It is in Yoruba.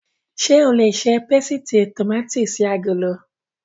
Ṣé o lè ṣe pésìtì tòmátì sí agolo?